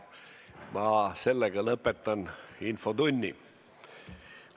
Ma lõpetan infotunni.